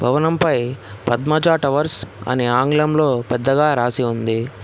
భవనం పై పద్మజా టవర్స్ అని ఆంగ్లంలో పెద్దగా రాసి ఉంది.